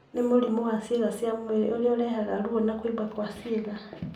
nĩ mũrimũ wa ciĩga cia mwĩrĩ ũrĩa ũrehaga ruo na kũimba kwa cĩĩga.